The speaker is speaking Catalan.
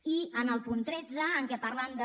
i en el punt tretze en què parlen de